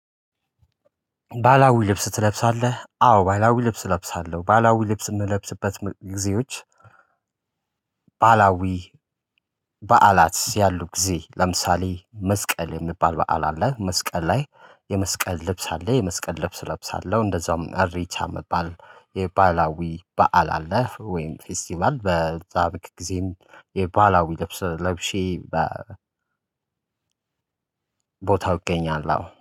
ባላዊ ልብስ ትለብሳለህ አዎ ባላዊ ልብስ እለብሳለሁ ባላዊ ልብስ የምለብስበት ጊዜዎች። ባላዊ በዓላት ያሉ ጊዜ ለምሳሌ መስቀል የሚባል በዓል አለ መስቀል ላይ የመስቀል ልብስ አለ የመስቀል ልብስ እለብሳለሁ። እንደዛውም እሬቻ የሚባል የባላዊ በዓል አለ ወይም ፌስቲቫል በዛም ጊዜም የባላዊ ለብሼ። ቦታው እገኛለሁ